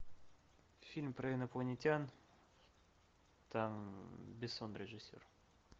фильм про инопланетян там бессон режиссер